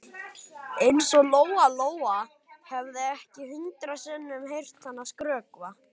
Eins og Lóa Lóa hefði ekki hundrað sinnum heyrt hana skrökva.